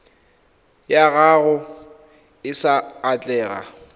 ya gago e sa atlega